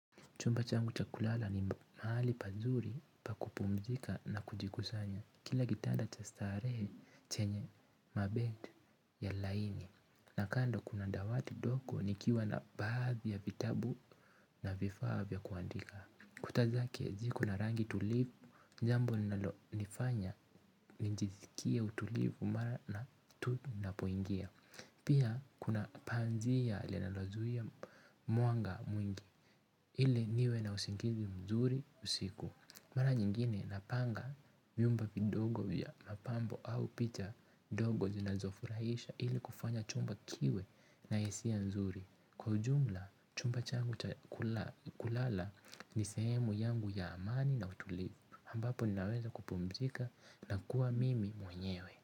Chumba changu cha kulala ni mahali pazuri pa kupumzika na kujikusanya. Kila kitanda cha starehe chenye mabed ya laini. Na kando kuna dawati ndogo nikiwa na baadhi ya vitabu na vifaa vya kuandika. Kuta zake ziko na rangi tulivu, jambo linalonifanya nijisikie utulivu mara na tu napoingia. Pia kuna panzia linalozuia mwanga mwingi. Ili niwe na usingizi mzuri usiku. Mara nyingine napanga vyumbe vidogo vya mapambo au picha ndogo zinazofurahisha ili kufanya chumba kiwe na hisia nzuri. Kwa ujumla chumba changu kulala ni sehemu yangu ya amani na utulivu, ambapo ninaweza kupumzika na kuwa mimi mwenyewe.